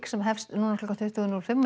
sem hefst núna klukkan tuttugu núll fimm